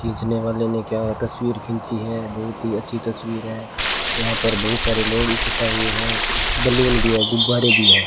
खींचने वाले ने क्या हुआ तस्वीर खींची है बहुत ही अच्छी तस्वीर है यहां पर बहुत सारे लोग इकट्ठा हुए हैं बैलून भी है गुब्बारे भी है।